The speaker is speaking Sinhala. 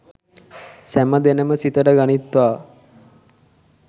සැම දෙනම සිතට ගනිත්වා